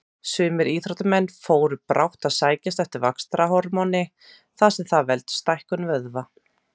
Sumir íþróttamenn fóru brátt að sækjast eftir vaxtarhormóni þar sem það veldur stækkun vöðva.